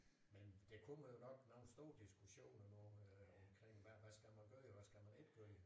Men det kunne man jo nok lave en stor diskussion når nu omkring hvad skal man gøre hvad skal man ikke gøre